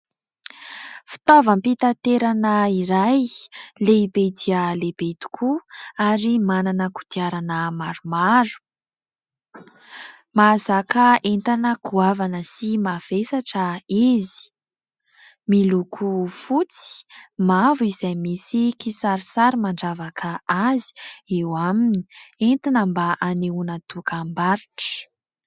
Fitavaom-pitaterana iray lehibe dia lehibe tokoa, ary manana kodiarana maromaro. Mahazaka entana goavana sy mavesatra izy. Miloko fotsy, mavo izay misy kisarisary mandravaka azy eo aminy; entina mba anehoana dokam-barotra.